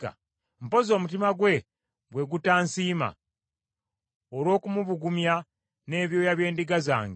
mpozzi omutima gwe, gwe gutansiima, olw’okumubugumya n’ebyoya by’endiga zange;